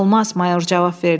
Mayor cavab verdi.